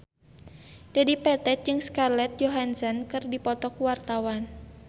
Dedi Petet jeung Scarlett Johansson keur dipoto ku wartawan